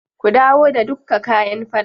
Ku dawo da dukka kayan faɗan.